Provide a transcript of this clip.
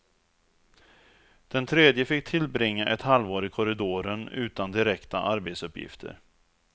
Den tredje fick tillbringa ett halvår i korridoren utan direkta arbetsuppgifter.